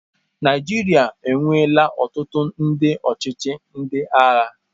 Naijiria enweela ọtụtụ ndị ọchịchị ndị agha.